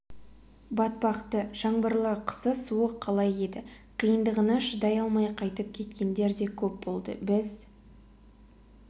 батпақты жаңбырлы қысы суық қала еді қиындығына шыдай алмай қайтып кеткендер де көп болды біз